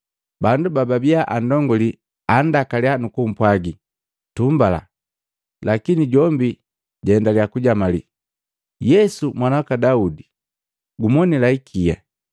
Bandu bababia andongulii andakalya nukupwagi tumbala, lakini jombi jaendalya kujamalii, “Yesu Mwana waka Daude, gumonila ikia!”